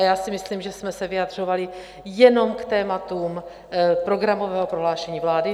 A já si myslím, že jsme se vyjadřovali jenom k tématům programového prohlášení vlády.